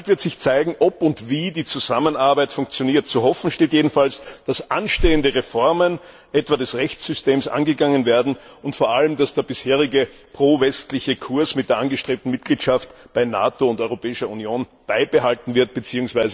Bald wird sich zeigen, ob und wie die Zusammenarbeit funktioniert. Zu hoffen steht jedenfalls, dass anstehende Reformen etwa des Rechtssystems angegangen werden, und vor allem, dass der bisherige pro westliche Kurs mit der angestrebten Mitgliedschaft in der NATO und der Europäischen Union beibehalten wird bzw.